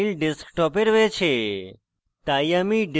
আমার file desktop এ রয়েছে